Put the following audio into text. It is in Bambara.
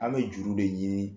An be juru de ɲini